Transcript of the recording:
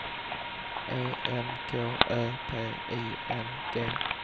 E N K Ö P I N G